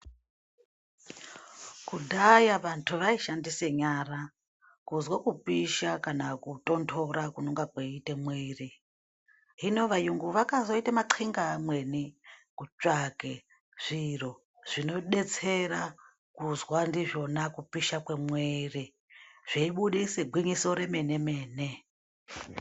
Kudhaya vantu vaishandise nyara kuzwa kupisha kana kutondora kunonga kweiite mwiri wemuntu . Hino vayungu vakazoite manxinga amweni kutsvage zviro zvinodetsera kuzwa ndizvona kupisha kwemwiri zveibudise gwinyiso remene mene.